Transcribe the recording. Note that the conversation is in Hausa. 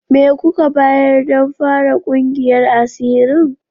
Me kuka bayar don fara kungiyar asirin?